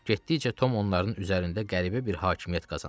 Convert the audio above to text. Getdikcə Tom onların üzərində qəribə bir hakimiyyət qazanırdı.